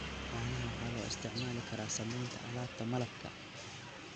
Caanaha waxaa loo isticmaali karaa samaynta alaabta malabka.